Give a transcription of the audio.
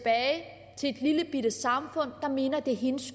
lillebitte samfund der mener det